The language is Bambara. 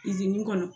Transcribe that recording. kɔnɔ